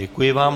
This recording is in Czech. Děkuji vám.